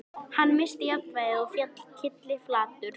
Hann missti jafnvægið og féll kylliflatur.